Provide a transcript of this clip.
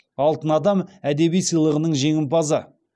алтын адам әдеби сыйлығының жеңімпазы